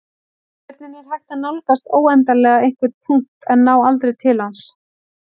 Hvernig er hægt að nálgast óendanlega einhvern punkt en ná aldrei til hans?